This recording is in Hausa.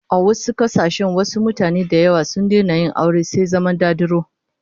A wasu kasashen wasu mutanen da yawa sun daina yin aure sai zama dadiro